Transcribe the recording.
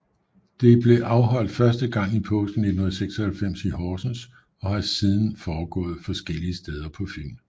Det blev afholdt første gang i påsken 1996 i Horsens og har siden foregået forskellige steder på Fyn